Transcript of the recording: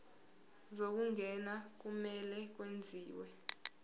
zokungena kumele kwenziwe